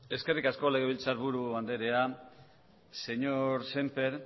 eskerrik asko legebiltzarburu anderea señor sémper